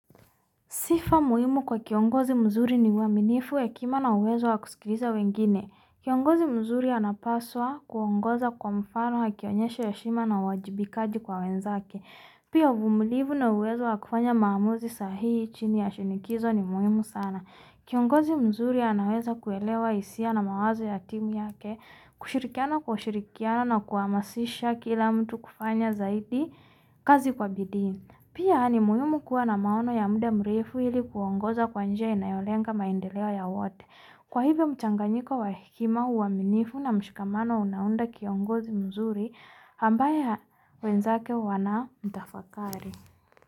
Sifa muhimu kwa kiongozi mzuri ni waminifu ya kima na uwezu wa kusikilisa wengine. Kiongozi mzuri ana paswa kwa mfano akionyesha heshima na wajibikaji kwa wenzake. Pia umulivu na uwezu wa kufanya mamuzi sahi itchini ya shinikizo ni muhimu sana. Kiongozi mzuri anaweza kuelewa hisia na mawazo ya timu ya ke. Kushirikiana kwa ushirikiano na kwa masisha kila mtu kufanya zaidi kazi kwa bidiin. Pia mwimu kuwa na maono ya muda mrefu iliku kiongoza kuwanji ya inayoleanga maindelia ya wote. Kwa hivo mtanganyiko wa hekima uaminifu na mshikamano unaundaki kiongozi mzuri, ambaye wenzake wana mtafakari.